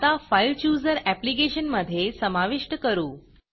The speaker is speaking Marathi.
आता FileChooserफाइल चुजर ऍप्लिकेशनमधे समाविष्ट करू